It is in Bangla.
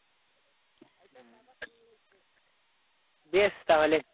বেশ তাহলে।